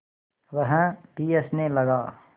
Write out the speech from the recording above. वह भी हँसने लगा